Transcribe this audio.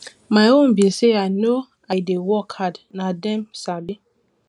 my own be say i no i dey work hard na dem sabi